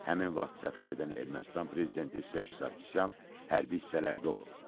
Həmin vaxt səfər edən Ermənistan prezidenti Serj Sarkisyan hərbi hissələrdə olub.